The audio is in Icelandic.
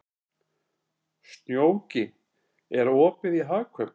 Snjóki, er opið í Hagkaup?